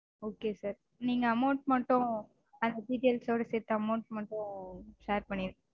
Okay sir. நீங்க amount மட்டும் details -ஓட சேத்து amount மட்டும் share பண்ணிருங்க. Okay sir